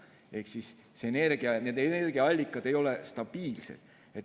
Ehk siis need energiaallikad ei ole stabiilsed.